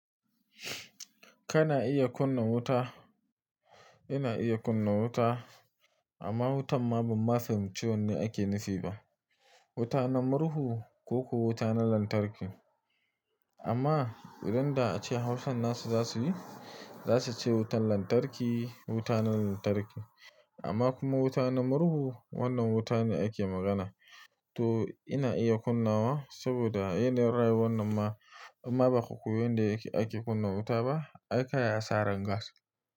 Kana iya kunna wuta. Ina iya kunna wuta amma wutan ma ban ma fahimci wanne ake nufi ba. Wuta na murhu ko ko wuta na lantarki. Amma idan da ace Hausan nasu za su yi, za su ce wutan lantarki, wuta na lantarki amma kuma wuta na murhu wannan wuta ne ake magana. To ina iya kunnawa saboda yanayin rayuwar nan ma amma ba ku koyi inda yake ake kunna wuta ba. Ai kayi a sa rangas.